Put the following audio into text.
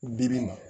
Bibi in na